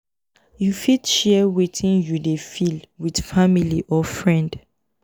you fit share wetin you dey feel with family or friend